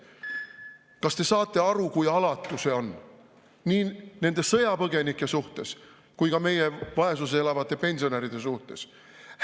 Kas te saate aru, kui alatu see on, nii nende sõjapõgenike suhtes kui ka meie vaesuses elavate pensionäride suhtes?